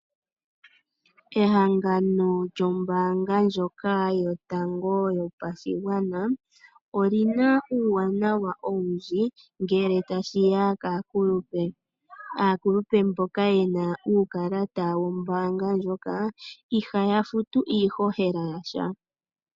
Ehangano lyombaanha yotango yopashigwana, oli na uuwanawa owundji ngele ta shi ya kaakulupe. Aakulupe mboka ye na uukalata wombaanga ndjoka iha ya futu iihohela ya sha.